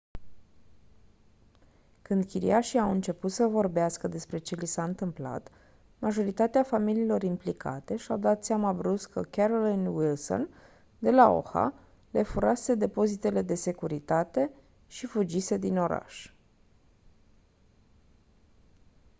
când chiriașii au început să vorbească despre ce li s-a întâmplat majoritatea familiilor implicate și-au dat seama brusc că carolyn wilson de la oha le furase depozitele de securitate și fugise din oraș